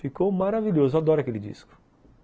Ficou maravilhoso, eu adoro aquele disco.